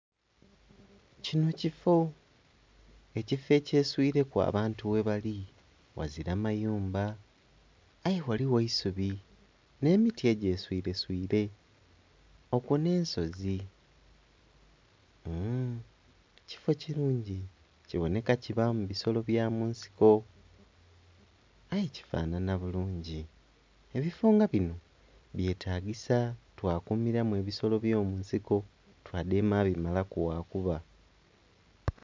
Kino kifo, ekifo ekyeswireku abantu ye bali. Ghazira mayumba aye ghaliwo eisubi nhe miti egye swireswire okwo nensozi ..mm..kifo kirungi kiboneka kibamu bisolo bya munsiko. Aye kifanhanha bulungi. Ebifo nga bino byetagisa twakumiramu ebisolo ebyo munsiko twadema bimalaku gha kuba